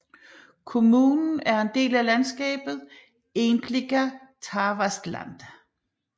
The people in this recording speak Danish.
Kommunen er en del af landskabet Egentliga Tavastland